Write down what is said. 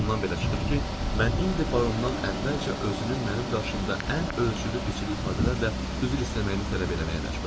Bundan belə çıxır ki, mən indi barondan əvvəlcə özünün mənim qarşımda ən ölçülü biçili ifadələrlə üzr istəməyini tələb eləməyə məcburam.